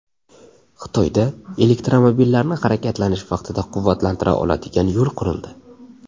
Xitoyda elektromobillarni harakatlanish vaqtida quvvatlantira oladigan yo‘l qurildi.